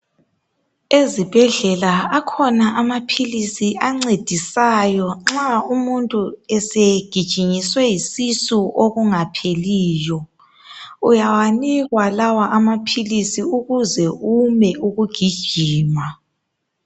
Ezibhedlela akhona amaphilisi ancedisayo nxa umuntu esegijinyiswe yisisu okungapheliyo uyawanikwa lawa amaphilisi ukuze ume ukugijima.